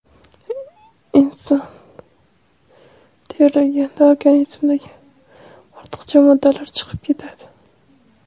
Inson terlaganda organizmdagi ortiqcha moddalar chiqib ketadi.